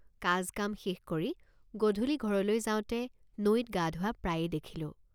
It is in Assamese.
কাজ কাম শেষ কৰি গধূলি ঘৰলৈ যাওঁতে নৈত গাধোৱা প্ৰায়ে দেখিলোঁ।